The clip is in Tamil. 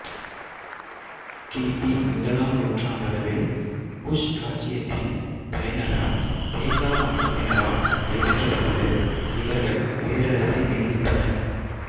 கிபி முதலாம் நூற்றாண்டளவில் குஷ் இராச்சியத்தின் தலைநகரம் பேசா வம்சத்தினரால் கைப்பற்றப்பட்டது இவர்கள் பேரரசை மீள்வித்தனர்